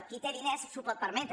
qui té diners s’ho pot permetre